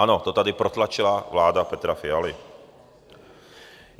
Ano, to tady protlačila vláda Petra Fialy.